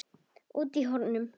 Úti í hornum.